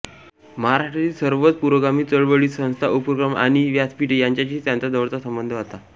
महाराष्ट्रातील सर्वच पुरोगामी चळवळी संस्था उपक्रम आणि व्यासपीठे यांच्याशी त्यांचा जवळचा संबंध हाता